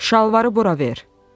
Şalvarı bura ver!